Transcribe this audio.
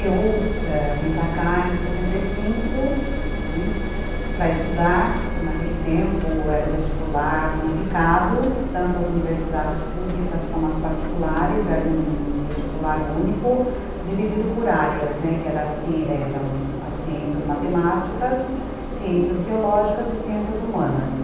Eu ãh vim para cá em mil novecentos e setenta e cinco, né, para estudar, naquele tempo era o vestibular unificado, tanto as universidades públicas como as particulares, era um vestibular único, dividido por áreas, né, que eram as ciências matemáticas, ciências biológicas e ciências humanas.